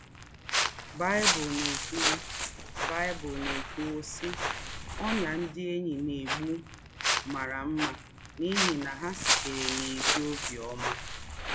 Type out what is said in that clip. Báịbụ̀l na-ékùwú, Báịbụ̀l na-ékùwú, sị́: “Ọ́nyá ndị̀ ényí na-ègbú m̀árà mmà, n’íhí na hà sìtèrè n’ézí óbì ọ́mà